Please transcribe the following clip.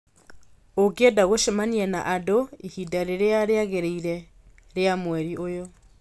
Ũngĩenda gũcemania na andũ ihinda rĩrĩa rĩagĩrĩire rĩa mweri ũyũ